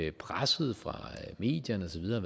at presset fra medierne og så videre